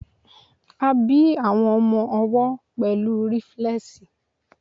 a bi àwọn ọmọ owó pẹlu riflesi